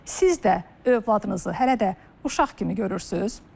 Siz də övladınızı hələ də uşaq kimi görürsüz?